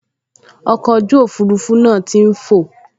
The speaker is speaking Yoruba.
Ọkọ̀ ojú òfurufú náà tí n fọ̀